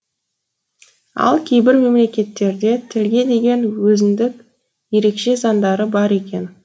ал кейбір мемлекеттерде тілге деген өзіндік ерекше заңдары бар екен